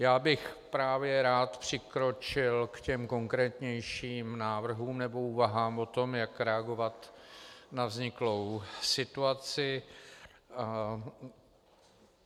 Já bych právě rád přikročil k těm konkrétnějším návrhům nebo úvahám o tom, jak reagovat na vzniklou situaci.